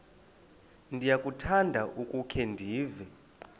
ndiyakuthanda ukukhe ndive